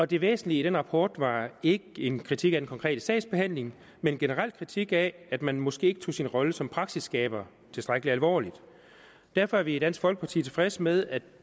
det væsentlige i den rapport var ikke en kritik af den konkrete sagsbehandling men en generel kritik af at man måske ikke tog sin rolle som praksisskaber tilstrækkelig alvorligt derfor er vi i dansk folkeparti tilfredse med at